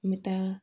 N bɛ taa